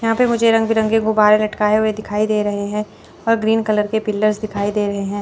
यहां पे मुझे रंग बिरंगे गुब्बारे लटकाए हुए दिखाई दे रहे हैं और ग्रीन कलर के पिलर्स दिखाई दे रहे हैं।